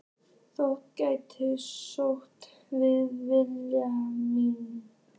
Þótt þær kjósi að vitja mín.